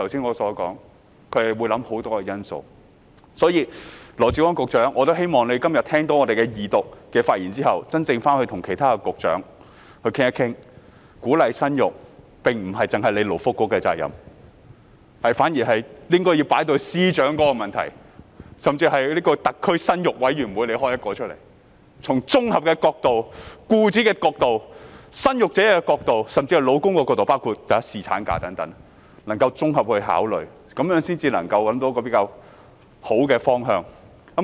我希望羅致光局長今天聽到議員的二讀發言之後，回去與其他局長討論一下，鼓勵生育不單是勞工及福利局的責任，而應是司長應該要處理的問題，甚至應該成立一個"特區生育委員會"，從僱主、生育者甚至丈夫的角度，綜合考慮包括侍產假等因素，這樣才能夠找到一個比較好的方向。